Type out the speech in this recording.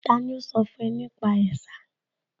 Tani ó sọ fún ẹ nípa ẹ̀sà?